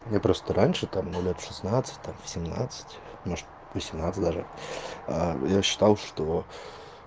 мне просто раньше там ну лет в шестнадцать семнадцать может восемнадцать даже я считал что